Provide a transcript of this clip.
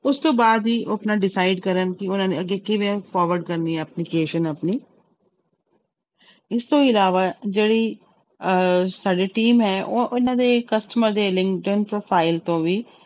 ਉਸ ਤੋਂ ਬਾਅਦ ਹੀ ਉਹ ਆਪਣਾ decide ਕਰਨ ਕਿ ਉਹਨਾਂ ਨੇ ਅੱਗੇ ਕਿਵੇਂ forward ਕਰਨੀ ਹੈ application ਆਪਣੀ ਇਸ ਤੋਂ ਇਲਾਵਾ ਜਿਹੜੀ ਅਹ ਸਾਡੀ team ਹੈ ਉਹ ਇਹਨਾਂ ਦੇ customer ਦੇ profile ਤੋਂ ਵੀ